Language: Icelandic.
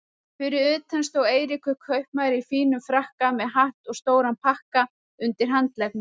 Fyrir utan stóð Eiríkur kaupmaður í fínum frakka með hatt og stóran pakka undir handleggnum.